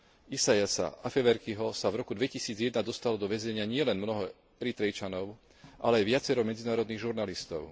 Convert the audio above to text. Isaiasa Afewerkiho sa v roku 2001 dostalo do väzenia nielen mnoho Eritrejčanov, ale aj viacero medzinárodných žurnalistov.